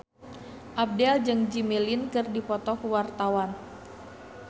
Abdel jeung Jimmy Lin keur dipoto ku wartawan